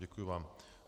Děkuji vám.